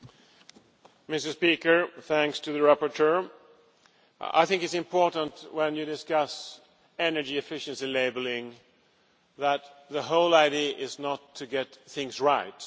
Mr President, my thanks to the rapporteur. I think it is important when you discuss energy efficiency labelling that the whole idea is not to get things right.